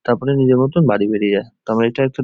তারপরে নিজের মতন বাড়ি বেরিয়ে যায় তাহলে এটা একটা --